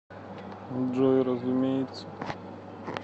джой разумеется